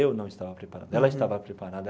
Eu não estava preparado, ela estava preparada.